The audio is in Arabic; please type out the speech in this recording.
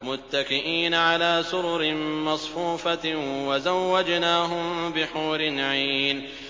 مُتَّكِئِينَ عَلَىٰ سُرُرٍ مَّصْفُوفَةٍ ۖ وَزَوَّجْنَاهُم بِحُورٍ عِينٍ